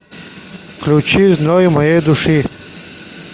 включи зной моей души